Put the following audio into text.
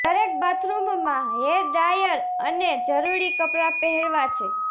દરેક બાથરૂમમાં hair dryer અને જરૂરી કપડાં પહેરવાં છે